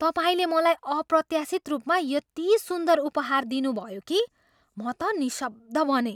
तपाईँले मलाई अप्रत्याशित रूपमा यति सुन्दर उपहार दिनुभयो कि म त निशब्द बनेँ।